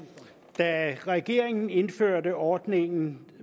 da regeringen indførte ordningen